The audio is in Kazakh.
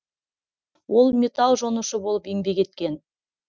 ол металл жонушы болып еңбек еткен